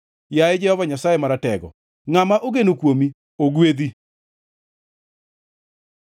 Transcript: Yaye Jehova Nyasaye Maratego, ngʼama ogeno kuomi ogwedhi.